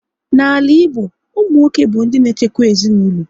N'ala Igbo, ụmụ nwoke bụ ndị na echekwa ezinaụlọ